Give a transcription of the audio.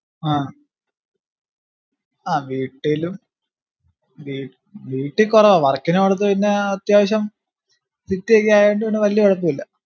ആഹ് ആഹ് വീട്ടിലും വീ ഏർ വീട്ടി കൊറവാ work നു പൊന്നാട്ത്ത് പിന്നാ അത്യാവശ്യം city ക്കെ ആയോണ്ട് പിന്നെ വല്യ കൊഴപ്പുല്ല